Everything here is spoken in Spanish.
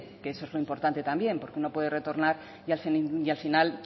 que eso es lo importante también porque uno puede retornar y al final